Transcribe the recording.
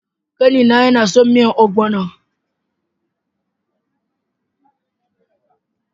Kani na yana son miyan "ogbono ".